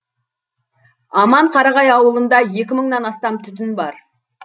аманқарағай ауылында екі мыңнан астам түтін бар